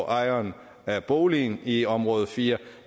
ejeren af boligen i område fire